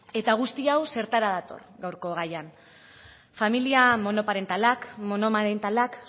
guzti hau zertara dator gaurko gaian familia monoparentalak monomarentalak